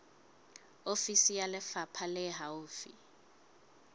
ofisi ya lefapha le haufi